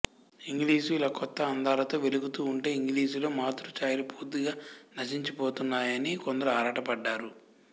English ఇలా కొత్త అందాలతో వెలుగుతూ ఉంటే ఇంగ్లీశులో మాతృఛాయలు పూర్తిగా నశించిపోతున్నాయని కొందరు ఆరాటపడ్డారు